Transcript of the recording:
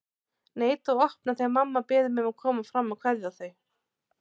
Neita að opna þegar mamma biður mig að koma fram að kveðja þau.